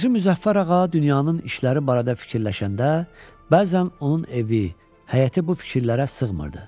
Hacı Müzəffər ağa dünyanın işləri barədə fikirləşəndə, bəzən onun evi, həyəti bu fikirlərə sığmırdı.